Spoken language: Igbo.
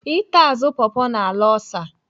Ịta azụ pọpọ na-ala ọlsa.